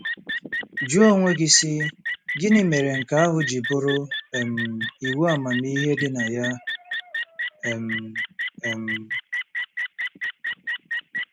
Jụọ onwe gị, sị, ‘Gịnị mere nke ahụ ji bụrụ um iwu amamihe dị na ya? um ' um